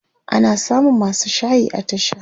ana samun masu shayi a tasha